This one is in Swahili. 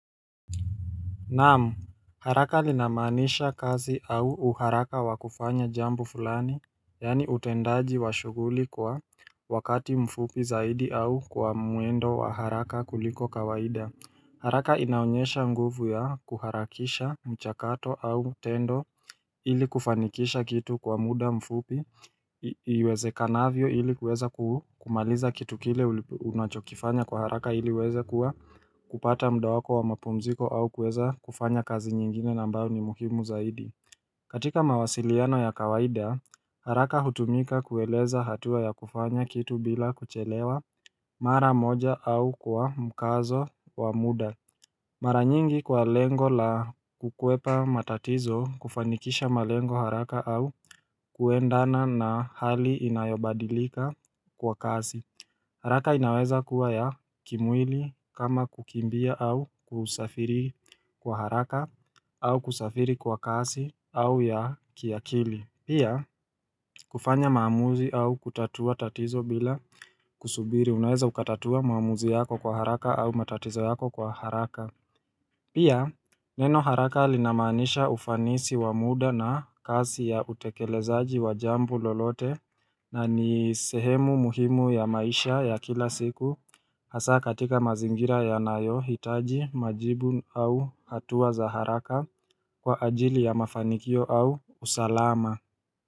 Naam haraka linamaanisha kazi au uharaka wa kufanya jambo fulani Yaani utendaji wa shuguli kwa wakati mfupi zaidi au kwa mwendo wa haraka kuliko kawaida haraka inaonyesha nguvu ya kuharakisha mchakato au tendo ili kufanikisha kitu kwa mda mfupi iwezekanavyo ili kuweza kumaliza kitu kile uli unachokifanya kwa haraka ili uweze kuwa kupata mda wako wa mapumziko au kuweza kufanya kazi nyingine na ambayo ni muhimu zaidi katika mawasiliano ya kawaida haraka hutumika kueleza hatua ya kufanya kitu bila kuchelewa mara moja au kwa mkazo wa mda Mara nyingi kwa lengo la kukwepa matatizo kufanikisha malengo haraka au kuendana na hali inayobadilika kwa kasi haraka inaweza kuwa ya kimwili kama kukimbia au kusafiri kwa haraka au kusafiri kwa kasi au ya kiakili Pia kufanya maamuzi au kutatua tatizo bila kusubiri unaweza ukatatua maamuzi yako kwa haraka au matatizo yako kwa haraka Pia neno haraka linamaanisha ufanisi wa mda na kasi ya utekelezaji wa jambo lolote na ni sehemu muhimu ya maisha ya kila siku hasa katika mazingira yanayohitaji majibu au hatua za haraka kwa ajili ya mafanikio au usalama.